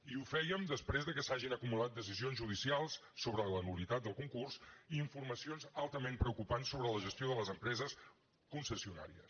i ho fèiem després que s’hagin acumulat decisions judicials sobre la nul·litat del concurs i informacions altament preocupants sobre la gestió de les empreses concessionàries